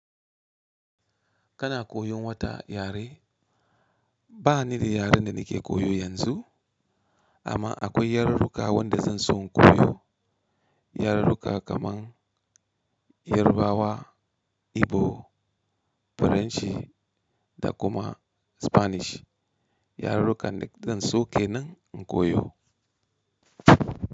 Kana koyon wata yare? Ba ni da yaren da nake koyo yanzu, amma akwai yarurruka wadda zan so in koyo. Yarurruka kamar Yarbawa, Igbo, Faranshi da kuma Spanish. Yarurruka da zan so kenan in koyo.